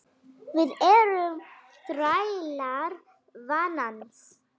Við erum þrælar vanans.